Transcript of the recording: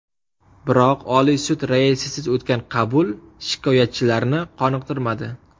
Biroq Oliy sud raisisiz o‘tgan qabul shikoyatchilarni qoniqtirmadi.